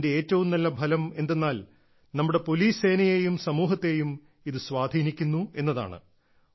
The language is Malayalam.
അതിന്റെ ഏറ്റവും നല്ല ഫലം എന്തെന്നാൽ നമ്മുടെ പോലീസ് സേനയെയും സമൂഹത്തെയും ഇത് സ്വാധീനിക്കുന്നു എന്നതാണ്